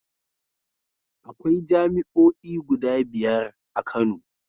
Akwai jami'oi guda biyar a Kano.